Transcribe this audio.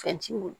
Fɛn t'i bolo